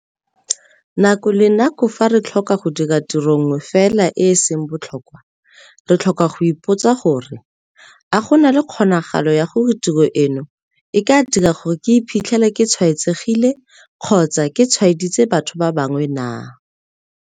Nako le nako fa re tlhoka go dira tiro nngwe fela e e seng botlhokwa, re tlhoka go ipotsa gore - a go na le kgonagalo ya gore tiro eno e ka dira gore ke iphitlhele ke tshwaetsegile kgotsa ke tshwaeditse batho ba bangwe naa?